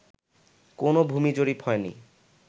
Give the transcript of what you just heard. কোনো ভূমি জরিপ হয়নি